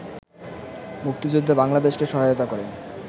মুক্তিযুদ্ধে বাংলাদেশকে সহায়তা করে